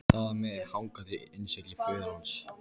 Það var með hangandi innsigli föður hans.